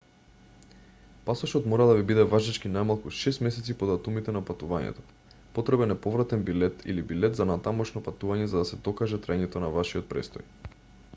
пасошот мора да ви биде важечки најмалку 6 месеци по датумите на патувањето. потребен е повратен билет/билет за натамошно патување за да се докаже траењето на вашиот престој